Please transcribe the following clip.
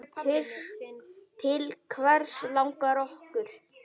Til hvers langar okkur?